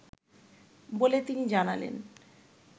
বলে তিনি জানালেন